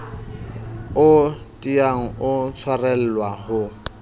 o tiang ho tshwarelwa ho